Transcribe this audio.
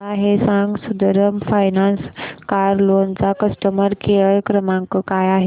मला हे सांग सुंदरम फायनान्स कार लोन चा कस्टमर केअर क्रमांक काय आहे